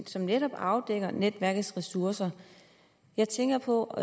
som netop afdækker netværkets ressourcer jeg tænker på